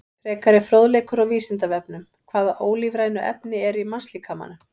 Frekari fróðleikur á Vísindavefnum: Hvaða ólífrænu efni eru í mannslíkamanum?